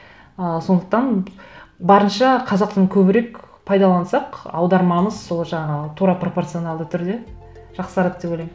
ы сондықтан барынша қазақ тілін көбірек пайдалансақ аудармамыз сол жағы тура пропорционалды түрде жақсарады деп ойлаймын